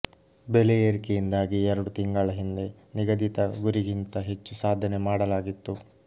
ಬೆಲೆ ಏರಿಕೆಯಿಂದಾಗಿ ಎರಡು ತಿಂಗಳ ಹಿಂದೆ ನಿಗದಿತ ಗುರಿಗಿಂತ ಹೆಚ್ಚು ಸಾಧನೆ ಮಾಡಲಾಗಿತ್ತು